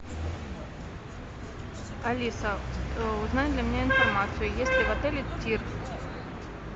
алиса узнай для меня информацию есть ли в отеле тир